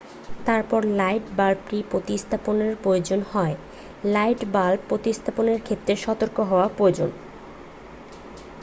তারপর লাইট বাল্বটি প্রতিস্থাপনের প্রয়োজন হয় লাইট বাল্ব প্রতিস্থাপনের ক্ষেত্রে সতর্ক হওয়া প্রয়োজন